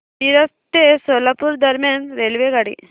मिरज ते सोलापूर दरम्यान रेल्वेगाडी